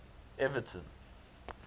everton